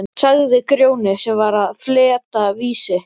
sagði Grjóni sem var að fletta Vísi.